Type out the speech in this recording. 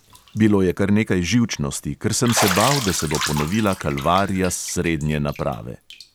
Bilo je kar nekaj živčnosti, ker sem se bal, da se bo ponovila kalvarija s srednje naprave.